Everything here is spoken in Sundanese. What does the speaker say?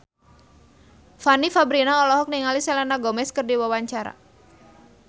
Fanny Fabriana olohok ningali Selena Gomez keur diwawancara